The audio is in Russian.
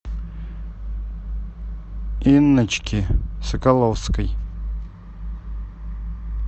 инночки соколовской